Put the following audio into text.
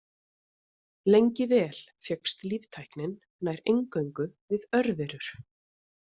Lengi vel fékkst líftæknin nær eingöngu við örverur.